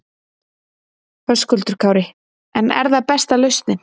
Höskuldur Kári: En er það besta lausnin?